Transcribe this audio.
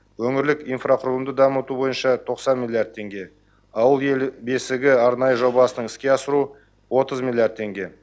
өңірлік инфрақұрылымды дамыту бойынша тоқсан миллиард теңге ауыл ел бесігі арнайы жобасының іске асыру отыз миллиард теңге